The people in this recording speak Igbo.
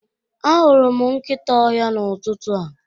Ahụrụ m nkịta ọhịa n'ụtụtụ a.